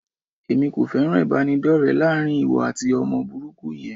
Èmi kò fẹ́ràn ìbánidọ́rẹ láàrin ìwọ àti ọmọ burúkú yẹn.